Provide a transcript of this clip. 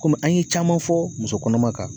Kɔmi an ye caman fɔ muso kɔnɔma kan